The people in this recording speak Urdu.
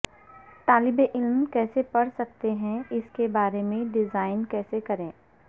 طالب علم کیسے پڑھ سکتے ہیں اس کے بارے میں ڈیزائن کیسے کریں